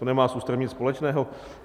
To nemá s ústavem nic společného.